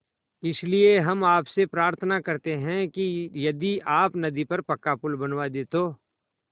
इसलिए हम आपसे प्रार्थना करते हैं कि यदि आप नदी पर पक्का पुल बनवा दे तो